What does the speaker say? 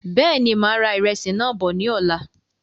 Bẹ́ẹ̀ni, máa ra ìrẹsì náà bọ̀ ní ọ̀la